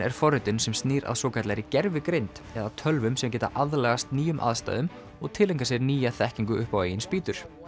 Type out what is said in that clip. er forritun sem snýr að svokallaðri gervigreind eða tölvum sem geta aðlagast nýjum aðstæðum og tileinkað sér nýja þekkingu upp á eigin spýtur